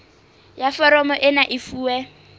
ya foromo ena e fuwe